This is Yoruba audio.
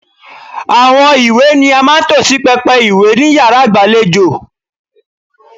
Àwọn ìwé ni a máa ń tò sí pẹpẹ ìwé ni yàrá ìgbàlejò.